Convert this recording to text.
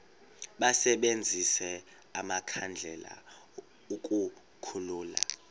basebenzise amakhandlela ukukhulula